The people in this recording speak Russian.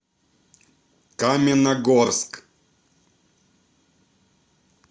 каменногорск